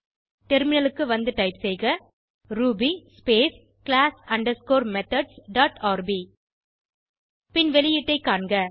டெர்மினலுக்கு வந்து டைப் செய்க ruby space class underscore methods dot rb பின் வெளியீட்டை காண்க